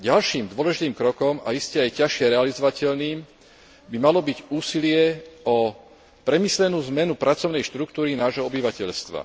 Ďalším dôležitým krokom a iste aj ťažšie realizovateľným by malo byť úsilie o premyslenú zmenu pracovnej štruktúry nášho obyvateľstva.